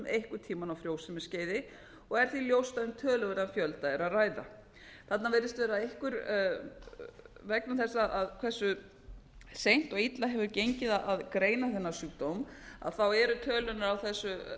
einhvern tímann á frjósemisskeiði og er því ljóst að um töluverðan fjölda er að ræða þarna virðist vera vegna þess hversu seint og illa hefur gengið að greina þennan sjúkdóm eru tölurnar á þessu